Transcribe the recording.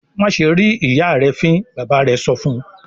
"Má ṣe rín ìyá rẹ fín!" Bàbá rẹ̀ sọ fún un.